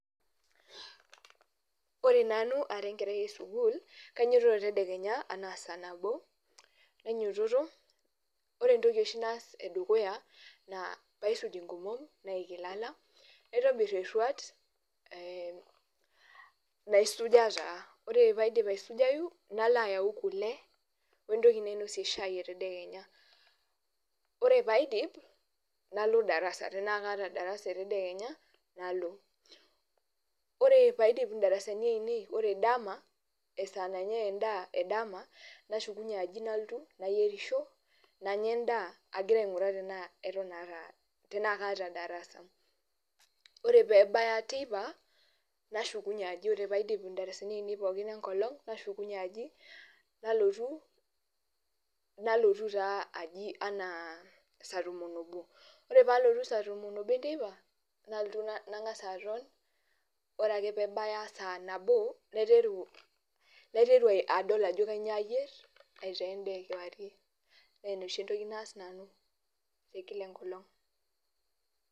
Ore nanu ara enkerai esukul, kainyototo tedekenya anaa saa nabo, nainyoto ore entoki oshi naas edukuya naa paisuj enkomom, naik ilala naitobir erwat, naisuja taa, ore pee aidip aisujayu, nalo ayau kule wentoki nainosie shaai etendekenya ,ore pee adip nalo darasa tenaa kaata darasa etendekenya nalo ,ore pee aidip indarasani aienei ,ore dama esaa nanyae endaa edama nashukunye aji nalotu nayeirisho nanya endaa agira ainguraa tenaa kaata darasa. ore pee ebaya teipa, nashukunye aji ore pee aidip indarasani aienei pookin enkolong nashukunye aji ,nalotu taa aji anaa saa tomon oobo. ore pee alotu saa tomon oobo enteipa, nalotu nangas aton ore ake pee ebaya saa nabo, naiteru adol ajo kainyoo ayier aitaa endaa ekewarie naa ina oshi entoki naas nanu the Kila enkolong.